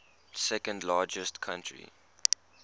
second largest country